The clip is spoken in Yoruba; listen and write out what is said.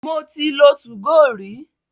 Mo ti lo 2go rí.